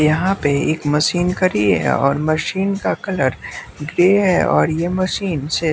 यहाँ पे एक मशीन करी है और मशीन का कलर ग्रे है और ये मशीन से--